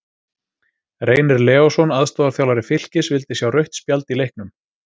Reynir Leósson, aðstoðarþjálfari Fylkis, vildi sjá rautt spjald í leiknum.